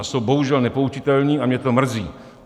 A jsou bohužel nepoučitelní a mě to mrzí.